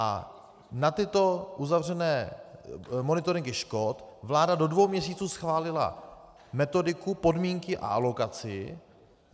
A na tyto uzavřené monitoringy škod vláda do dvou měsíců schválila metodiku, podmínky a alokaci.